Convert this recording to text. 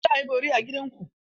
Za a yi bori a gida ku?